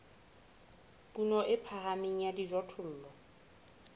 kuno e phahameng ya dijothollo